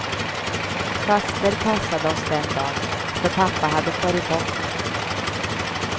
Faster passade oss den dagen för pappa hade farit bort.